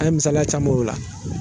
An ye misaliya caman ye o la